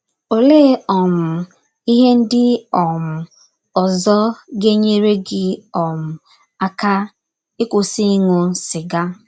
Ọlee um ihe ndị um ọzọ ga - enyere gị um aka ịkwụsị ịṅụ sịga?